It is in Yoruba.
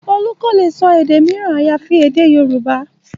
Olú kò lè sọ èdè mìíràn àyàfi èdè Yorùbá